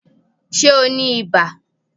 Ṣé o ní ibà?